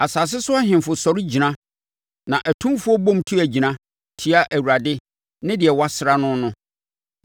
Asase so ahemfo sɔre gyina na atumfoɔ bom tu agyina tia Awurade ne Deɛ Wɔasra no no.